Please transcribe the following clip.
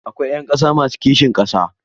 Akwai ‘yan ƙasa masu kishin ƙasa a Najeriya.